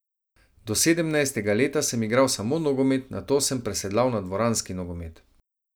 Do sedemnajstega leta sem igral samo nogomet, nato sem presedlal na dvoranski nogomet.